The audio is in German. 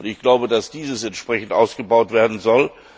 Ich glaube, dass diese entsprechend ausgebaut werden soll.